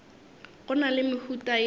go na le mehuta ye